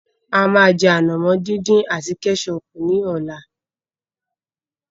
A máa jẹ ànàmọ́ dín dín àti Kẹ́sọọ̀pù ní ọ̀la.